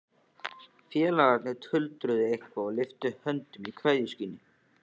Félagarnir tuldruðu eitthvað og lyftu höndum í kveðjuskyni.